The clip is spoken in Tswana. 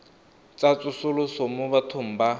tsa tsosoloso mo bathong ba